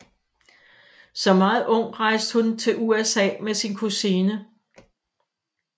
Som meget ung rejste hun til USA med sin kusine